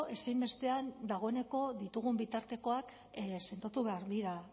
ezinbestean dagoeneko ditugun bitartekoak sendotu behar dira